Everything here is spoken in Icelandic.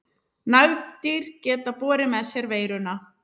Nagdýr geta borið með sér veiruna.